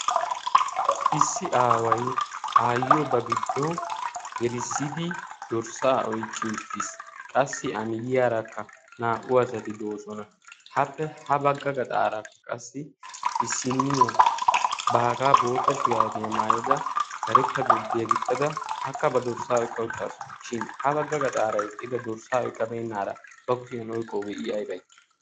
issi aawai aayyiyo ba giddo gelisidi dorssaa oiqqi uttiis. qassi amiyyiyaaraakka naa77u asati doosona. appe ha bagga gaxaaraakka qassi isinniyaa baagaa bootta shuraabiyaa maayada karetta gurddiyaa gixxada akka ba dorssaa oiqqa uttaasu. shin ha bagga gaxaara iqqida dorssaa oiqqabeennaara ba kuhiyan oiqqoogee i aibai?